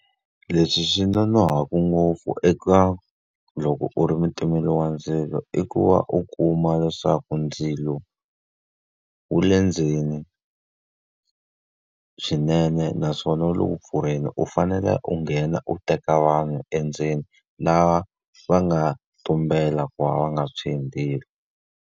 Leswi swi nga nonohaku ngopfu eka loko u ri mutimeri wa ndzilo i ku va u kuma leswaku ndzilo wu le ndzeni swinene naswona wu le ku pfurheni, u fanele u nghena u teka vanhu endzeni lava va nga tumbela ku va va nga tshwi hi ndzilo.